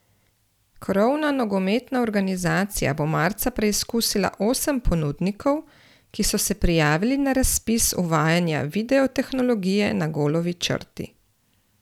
Krovna nogometna organizacija bo marca preizkusila osem ponudnikov, ki so se prijavili na razpis uvajanja videotehnologije na golovi črti.